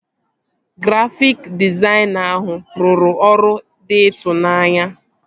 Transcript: Grafịk dịzaịna ahụ rụrụ ọrụ dị ịtụnanya